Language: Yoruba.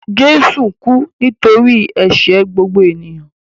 Jésù kú nítorí ẹ̀ṣẹ̀ gbogbo ènìyàn.